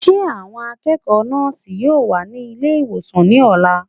Ṣé àwọn akẹ́kọ̀ọ́ nọ́ọ̀sì yóò wà ní ilé ìwòsàn ní ọ̀la?